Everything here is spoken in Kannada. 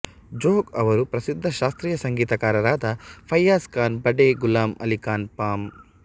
ಜೋಗ್ ಅವರು ಪ್ರಸಿದ್ಧ ಶಾಸ್ತ್ರೀಯ ಸಂಗೀತಗಾರರಾದ ಫಯ್ಯಜ್ ಖಾನ್ ಬಡೇ ಗುಲಾಮ್ ಅಲಿ ಖಾನ್ ಪಂ